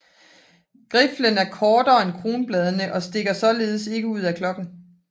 Griflen er kortere end kronbladene og stikker således ikke ud af klokken